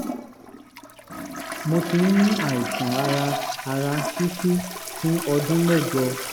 mo ti ń ní àìsàn ara ara ṣíṣú fún ọdún mẹ́jọ